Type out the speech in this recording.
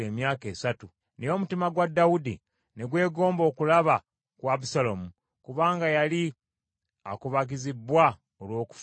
Naye omutima gwa Dawudi ne gwegomba okulaba ku Abusaalomu, kubanga yali akubagizibbwa olw’okufa kwa Amunoni.